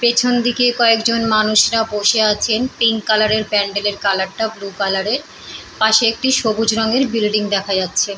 পেছন দিকে কয়েকজন মানুষরা বসে আছেন। পিঙ্ক কালার -এর প্যান্ডেল -এর কালার -টা বুলু কালার -এর। পাশে একটি সবুজ রংয়ের বিল্ডিং দেখা যাচ্ছে।